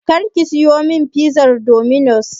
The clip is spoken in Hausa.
Kar ki siyo min fizar Dominos!